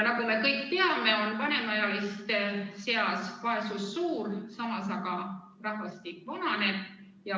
Nagu me kõik teame, on vanemaealiste seas vaesus suur, samas aga rahvastik vananeb.